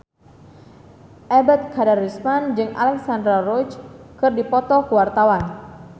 Ebet Kadarusman jeung Alexandra Roach keur dipoto ku wartawan